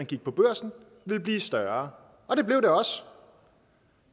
gik på børsen ville blive større og det blev det også